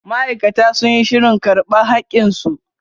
Ma'aikata sun yi shirin karba hakin su.